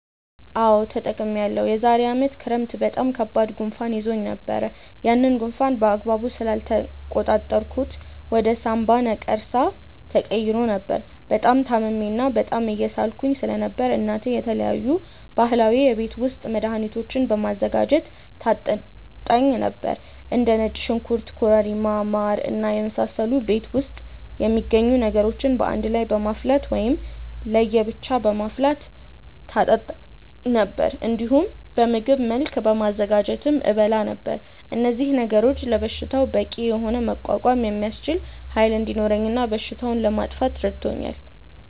አዎ ተጠቅሜያለሁ። የዛሬ አመት ክረምት በጣም ከባድ ጉንፋን ይዞኝ ነበር። ያንን ጉንፋን በአግባቡ ስላልተቆጣጠርኩት ወደ ሳምባ ነቀርሳ ተቀይሮ ነበር። በጣም ታምሜ እና በጣም እየሳልኩ ስለነበር እናቴ የተለያዩ ባህላዊ የቤት ውስጥ መድሀኒቶችን በማዘጋጀት ታጠጣኝ ነበር። እንደ ነጭ ሽንኩርት ኮረሪማ ማር እና የመሳሰሉ ቤት ውስጥ የሚገኙ ነገሮችን በአንድ ላይ በማፍላት ወይም ለየ ብቻ በማፍላት ታጠጣኝ ነበር። እንዲሁም በምግብ መልክ በማዘጋጀትም እበላ ነበር። እነዚህ ነገሮች ለበሽታው በቂ የሆነ መቋቋም የሚያስችል ኃይል እንዲኖረኝ እና በሽታውንም ለማጥፋት ረድቶኛል።